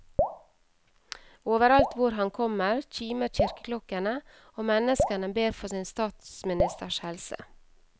Overalt hvor han kommer, kimer kirkeklokkene, og menneskene ber for sin statsministers helse.